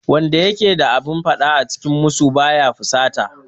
Wanda yake da abin faɗa a cikin musu ba ya fusata